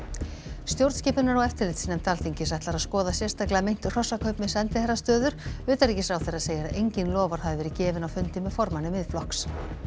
stjórnskipunar og eftirlitsnefnd Alþingis ætlar að skoða sérstaklega meint hrossakaup með sendiherrastöður utanríkisráðherra segir að engin loforð hafi verið gefin á fundi með formanni Miðflokks